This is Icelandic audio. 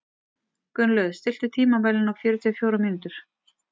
Gunnlöð, stilltu tímamælinn á fjörutíu og fjórar mínútur.